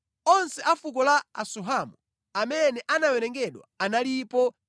Onse a fuko la Asuhamu amene anawerengedwa analipo 64,400.